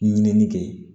Ɲinini kɛ